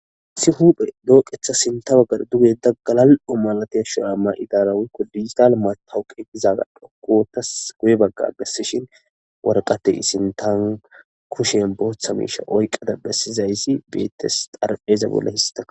isi huphe dooqetha sinta baggar dugeda galal7o malatey sha7aama idaarawikko disital matahoqegizaga dhokkotas guye bagga agessishin warqate isintan kushen booththa miisha oyqada bessizayssi beettes xarpheeza bolla hista